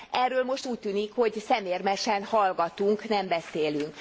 Erről most úgy tűnik, hogy szemérmesen hallgatunk, nem beszélünk.